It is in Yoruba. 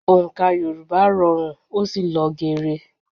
Òǹkà Yorùbá rọrùn ó sì lọ gere